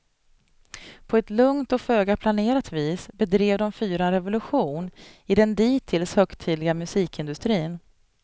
På ett lugnt och föga planerat vis bedrev de fyra en revolution i den dittills högtidliga musikindustrin.